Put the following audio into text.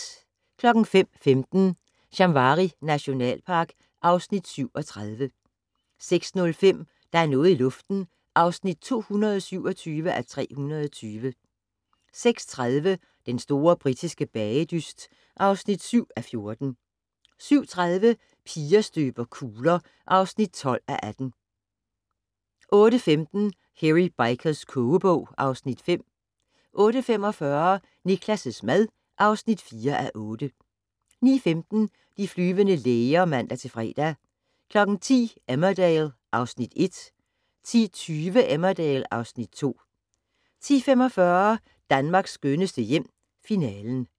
05:15: Shamwari nationalpark (Afs. 37) 06:05: Der er noget i luften (227:320) 06:30: Den store britiske bagedyst (7:14) 07:30: Piger støber kugler (12:18) 08:15: Hairy Bikers kogebog (Afs. 5) 08:45: Niklas' mad (4:8) 09:15: De flyvende læger (man-fre) 10:00: Emmerdale (Afs. 1) 10:20: Emmerdale (Afs. 2) 10:45: Danmarks skønneste hjem - Finalen